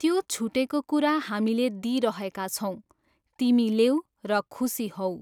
त्यो छुटेको कुरा हामीले दिइरहेका छौँ, तिमी लेऊ र खुसी होऊ।